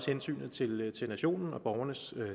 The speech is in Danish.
hensynet til til nationen og borgernes